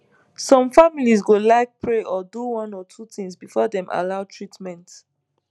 some families go like pray or do one or two things before dem allow treatment